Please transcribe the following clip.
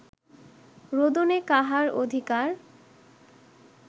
রোদনে কাহার অধিকার